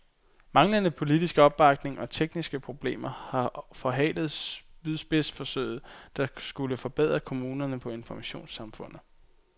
Manglende politisk opbakning og tekniske problemer har forhalet spydspidsforsøget, der skulle forberede kommunerne på informationssamfundet.